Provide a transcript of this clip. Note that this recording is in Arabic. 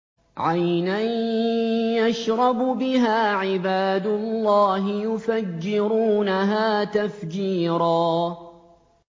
عَيْنًا يَشْرَبُ بِهَا عِبَادُ اللَّهِ يُفَجِّرُونَهَا تَفْجِيرًا